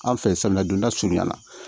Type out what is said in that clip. An fɛ samiya donda surunya la